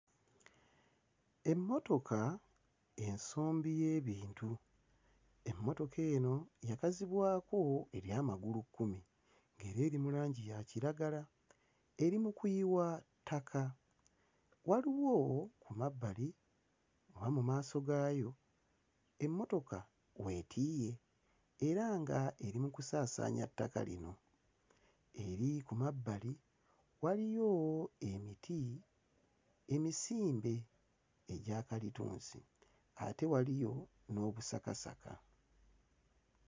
Emmotoka ensombi y'ebintu, emmotoka eno yakazibwako erya magulukkumi ng'era eri mu langi ya kiragala eri mu kuyiwa ttaka waliwo ku mabbali oba mu maaso gaayo emmotoka weetiiye era nga eri mu kusaasaanya ttaka lino eriri ku mabbali waliyo emiti emisimbe egya kalitunsi ate waliyo n'obusakasaka.